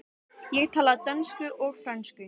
Ég tala dönsku og frönsku.